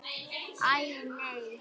Æi, nei.